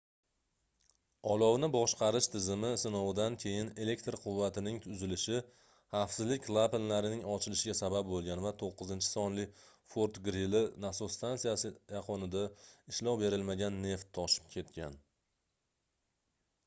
olovni boshqarish tizimi sinovidan keyin elektr quvvatining uzilishi xavfsizlik klapanlarning ochilishiga sabab boʻlgan va 9-sonli fort-grili nasos stansiyasi yaqinida ishlov berilmagan neft toshib ketgan